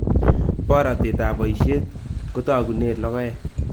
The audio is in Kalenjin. Borotetap poisheet kotogunen logoek